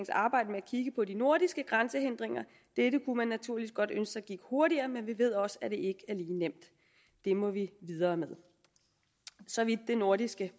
arbejde med at kigge på de nordiske grænsehindringer dette kunne man naturligvis godt ønske sig gik hurtigere men vi ved også at det er lige nemt det må vi videre med så vidt det nordiske